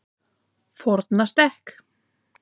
Fornastekk